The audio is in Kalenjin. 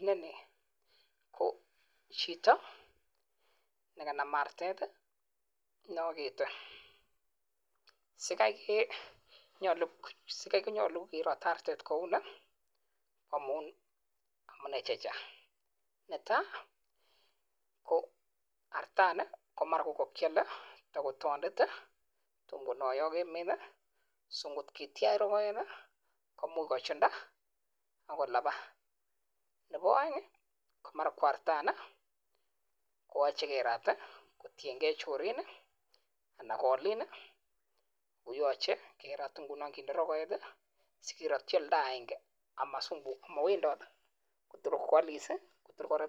Agere KO cheto nekanam artet neagete si amune kakirat artet kounii ko amun taandet ,kot kingen kele chorinn kerate simaaab tuguuuk ap piik anan komache keeeeny